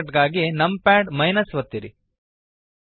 shortcut ಗಾಗಿ num pad ಒತ್ತಿರಿ